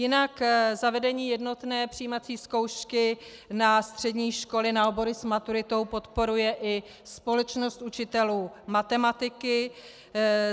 Jinak zavedení jednotné přijímací zkoušky na střední školy na obory s maturitou podporuje i Společnost učitelů matematiky.